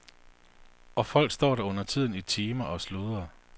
Og folk står der undertiden i timer og sludrer.